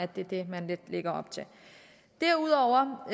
det er det man lidt lægger op til derudover